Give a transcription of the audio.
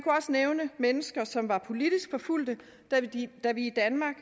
nævne mennesker som er politisk forfulgte da vi i danmark